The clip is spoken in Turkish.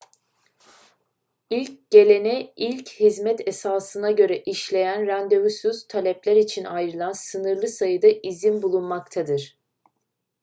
i̇lk gelene ilk hizmet esasına göre işleyen randevusuz talepler için ayrılan sınırlı sayıda izin bulunmaktadır